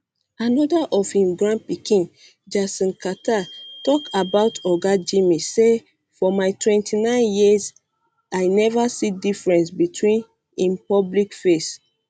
um anoda of im grandpikin jason carter tok about oga jimmy say for my 49 years i neva see difference between im public face